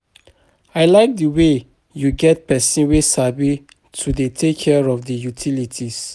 I like the way you get person wey sabi to dey take care of the utilities